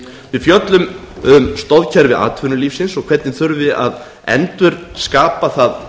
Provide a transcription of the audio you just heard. við fjöllum um stoðkerfi atvinnulífsins og hvernig þurfi að endurskapa það